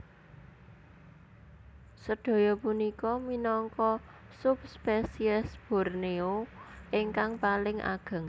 Sedaya punika minangka subspesies Borneo ingkang paling ageng